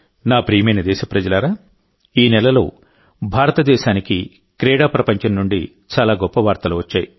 నా ప్రియమైన దేశప్రజలారాఈ నెలలో భారతదేశానికి క్రీడా ప్రపంచం నుండి చాలా గొప్ప వార్తలు వచ్చాయి